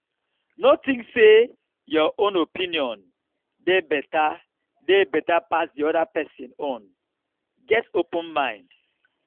no think sey your own opinion dey better dey better pass di oda person own get open mind